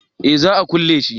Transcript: eh za a kulle shi